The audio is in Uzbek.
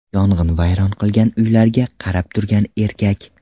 Yong‘in vayron qilgan uylarga qarab turgan erkak.